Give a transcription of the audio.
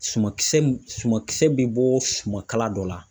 Suman kisɛ ,suman kisɛ bɛ bɔ sumaka dɔ la.